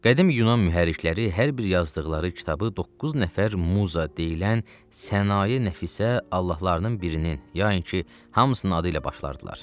Qədim Yunan mühərrirkləri hər bir yazdıqları kitabı doqquz nəfər muza deyilən sənayə nəfisə allahlarının birinin, yainki hamısının adı ilə başlardılar.